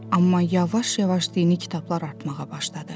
Amma yavaş-yavaş dini kitablar artmağa başladı.